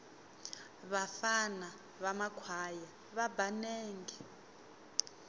vafana va makhwaya va ba nenge